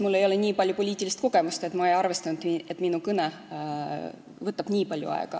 Ilmselt ei ole mul nii palju poliitilist kogemust, ma ei arvestanud, et minu kõne võtab nii palju aega.